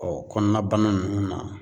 kɔnɔna bana ninnu na